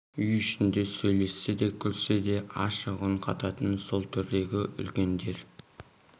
үй ішінде сөйлессе де күлсе де ашық үн қататын сол төрдегі үлкендер